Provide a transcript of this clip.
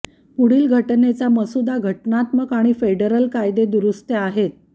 पुढील घटनेच्या मसुदा घटनात्मक आणि फेडरल कायदे दुरुस्त्या आहेत